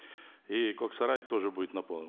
и коксарай тоже будет наполнен